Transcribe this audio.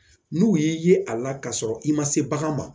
N'u y'i ye a la kasɔrɔ i ma se bagan ma